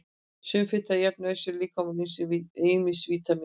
Sum fita er jafn nauðsynleg líkamanum og ýmis vítamín eru.